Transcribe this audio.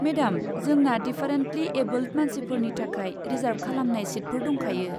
मेदाम जोंना differently abled मानसिफोरनि थाखाय रिजार्ब खालामनाय सिटफोर दंखायो।